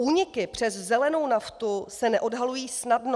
Úniky přes zelenou naftu se neodhalují snadno.